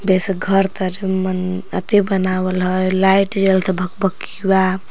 जैसे घर तरे मन अति बनावल हय लाइट जलत हय भकभकीवा।